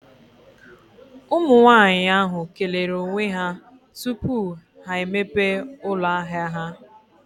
Ụmụ nwaanyị ahụ kelere onwe ha tupu ha emepe ụlọ ahia ha.